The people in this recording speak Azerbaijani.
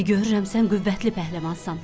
İndi görürəm sən qüvvətli pəhləvansan.